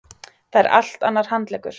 Það er allt annar handleggur.